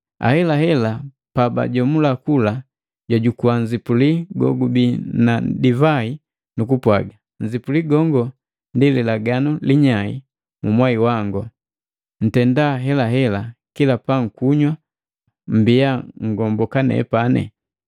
Ahelahela pabajomula kula, jwajukua nzipuli gogubii na divai, nukupwaga: “Nzipuli gongo ndi lilaganu linyai mu mwai wangu. Ntenda helahela, kila pankunywa mbiya nngomboka nepani.”